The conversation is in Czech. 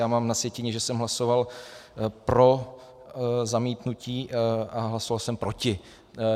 Já mám na sjetině, že jsem hlasoval pro zamítnutí, a hlasoval jsem proti.